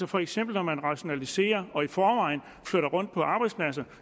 for eksempel rationaliserer og i forvejen flytter rundt på arbejdspladser